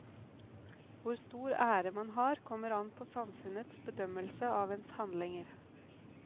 Hvor stor ære man har kommer an på samfunnets bedømmelse av ens handlinger.